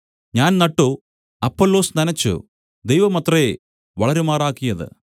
ഞാൻ നട്ടു അപ്പൊല്ലോസ് നനച്ചു ദൈവമത്രേ വളരുമാറാക്കിയത്